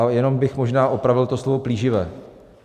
Ale jenom bych možná opravil to slovo "plíživé".